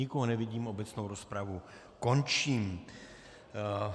Nikoho nevidím, obecnou rozpravu končím.